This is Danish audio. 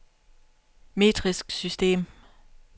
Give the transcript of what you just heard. metrisk system